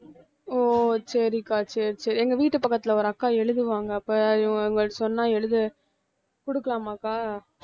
ஓ சரிக்கா சரி சரி எங்க வீட்டு பக்கத்துல ஒரு அக்கா எழுதுவாங்க அப்ப அவங்கள்ட்ட சொன்னா எழுத~ குடுக்கலாமாக்கா